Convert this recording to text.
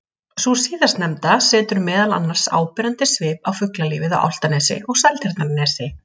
Sú síðastnefnda setur meðal annars áberandi svip á fuglalífið á Álftanesi og Seltjarnarnesi.